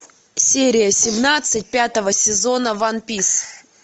серия семнадцать пятого сезона ван пис